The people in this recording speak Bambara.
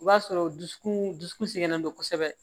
O b'a sɔrɔ dusukun dusukun sɛgɛnnen don kosɛbɛ